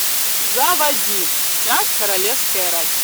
заводи вся королевская рать